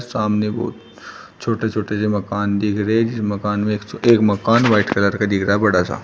सामने बहोत छोटे छोटे से मकान दिख रहे हैं जिस मकान में एक मकान व्हाइट कलर का दिख रहा है बड़ा सा।